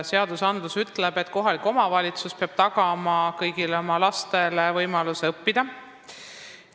Seadus ütleb, et kohalik omavalitsus peab tagama kõigile oma lastele võimaluse õppida.